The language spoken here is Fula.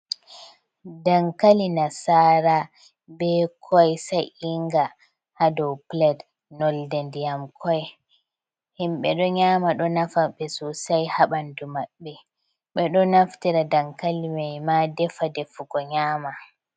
Dankali nasara be koi sa'inga ha do pilet nolde nɗiyam koi himɓe do nyama do nafaɓe sosai ha ɓandu maɓbe ɓe ɗo naftira dankali mai ma ɗefa de fugo nyama.